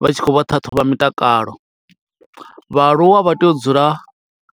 vha tshi khou vha ṱhaṱhuvha mitakalo. Vhaaluwa vha tea u dzula